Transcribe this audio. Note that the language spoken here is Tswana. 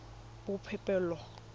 boipobolo